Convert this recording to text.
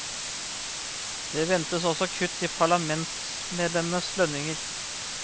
Det ventes også kutt i parlamentsmedlemmenes lønninger.